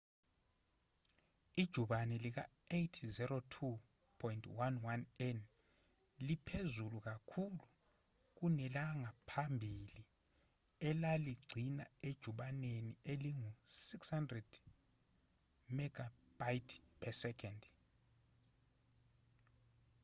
ijubane lika-802.11n liphezulu kakhulu kunelangaphambili elaligcina ejubaneni elingu-600mbit/s